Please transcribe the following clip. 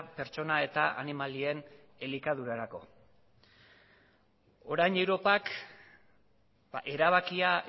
pertsona eta animalien elikadurarako orain europak erabakia